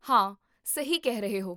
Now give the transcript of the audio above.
ਹਾਂ, ਸਹੀ ਕਹਿ ਰਹੇ ਹੋ